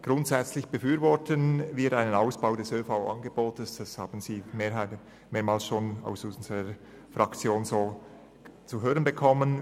Grundsätzlich befürworten wir einen Ausbau des ÖV-Angebotes, wie Sie bereits mehreren Voten aus unserer Fraktion entnehmen konnten.